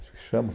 Acho que chama.